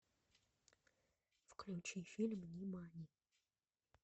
включи фильм нимани